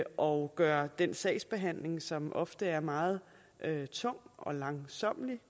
og gøre den sagsbehandling som ofte er meget tung og langsommelig